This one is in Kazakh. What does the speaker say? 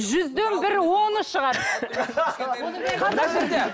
жүзден бір оны шығар